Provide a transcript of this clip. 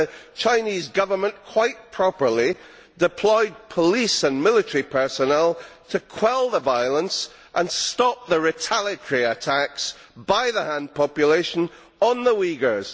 The Chinese Government quite properly deployed police and military personnel to quell the violence and stop the retaliatory attacks by the Han population on the Uighurs.